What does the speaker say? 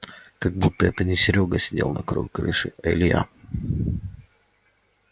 как будто это не серёга сидел на краю крыши а илья